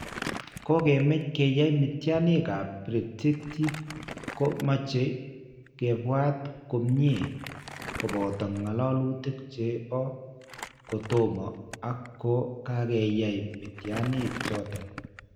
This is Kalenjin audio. Ko kemech ke yaay mityaniikap predictive ko mache kebwat komnye, koboto ng'alalutik che po kotomo ak ko kakyaay mityaniik choton.